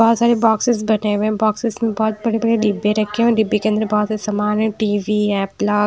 बहुत सारे बॉक्सेस बने हुए हैं बॉक्सेस में बहुत बड़े बड़े डिब्बे रखे हुए हैं डिब्बे के अंदर बहुत सारे सामान है टी_वी एप्पला।